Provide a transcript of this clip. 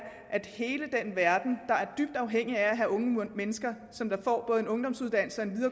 at hele den verden der er dybt afhængig af at have unge mennesker som får både en ungdomsuddannelse